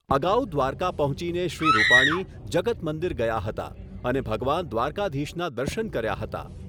અગાઉ દ્વારકા પહોંચીને શ્રી રૂપાણી જગત મંદીર ગયા હતા અને ભગવાન દ્વારકાધીશના દર્શન કર્યા હતા